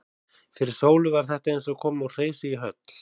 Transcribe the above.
Fyrir Sólu var þetta eins og að koma úr hreysi í höll.